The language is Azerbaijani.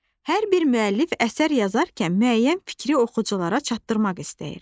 Hər bir müəllif əsər yazarkən müəyyən fikri oxuculara çatdırmaq istəyir.